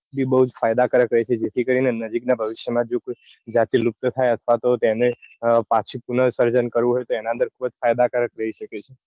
એ બૌ જ ફાયદા કારક રઈ છે. જેથી નજીક ના ભવિષ્ય માં જો કોઈ જતી લુપ્ત થાય અથવા તો તેને પછી પન સર્જન કરવું હોય તો એના અંદર ખુબજ ફાયદા કારક રઈ શકે છે.